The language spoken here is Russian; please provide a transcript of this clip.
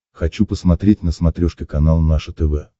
хочу посмотреть на смотрешке канал наше тв